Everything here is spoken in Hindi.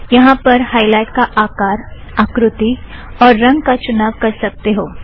यहाँ पर आप हायलाइट का आकार आकृति और रंग का चुनाव कर सकते हो